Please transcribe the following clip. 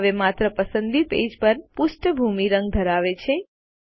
હવે માત્ર પસંદિત પેજ જ પૃષ્ઠભૂમિ રંગ ધરાવે છે